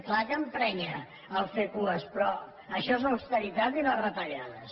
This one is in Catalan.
clar que emprenya fer cues però això és l’austeritat i les retallades